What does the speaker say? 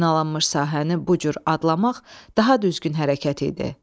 Minalanmış sahəni bu cür adlamaq daha düzgün hərəkət idi.